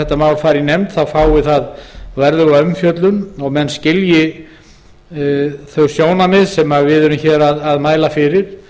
málið fer í nefnd fái það verðuga umfjöllun og menn skilji þau sjónarmið sem við mælum fyrir